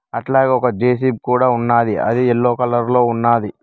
అట్లాగే ఒక జె_సి_బి కూడా ఉన్నది అది ఎల్లో కలర్ లో ఉన్నది.